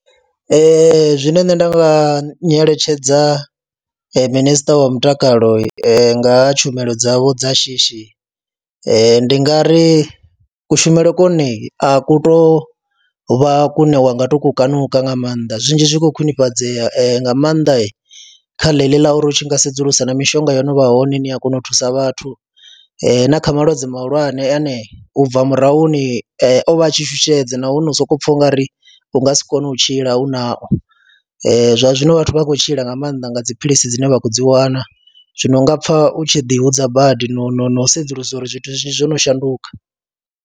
Ee, zwine nṋe nda nga nyeletshedza minister wa mutakalo nga ha tshumelo dzavho dza shishi ndi nga ri kushumele kone a ku tou vha kune wa nga tou kukanuka nga maanḓa, zwinzhi zwi khou khwinifhadzea nga maanḓa kha ḽe ḽi ḽa uri u tshi nga sedzulusa na mishonga yo no vha hone, ni a kona u thusa vhathu na kha malwadze mahulwane ane u bva murahuni o vha a tshi shushedza nahone u sokou pfha u nga ri u nga si kone u tshila u nao, zwa zwino vhathu vha khou tshila nga maanḓa nga dziphilisi dzine vha khou dzi wana, zwino u nga pfha u tshi ḓihudza badi no no no sedzulusa uri zwithu zwinzhi zwo no shanduka.